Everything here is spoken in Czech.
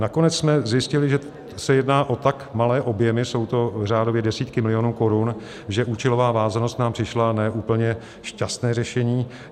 Nakonec jsme zjistili, že se jedná o tak malé objemy, jsou to řádově desítky milionů korun, že účelová vázanost nám přišla ne úplně šťastné řešení.